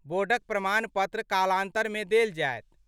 बोर्डक प्रमाण पत्र कालांतर मे देल जायत।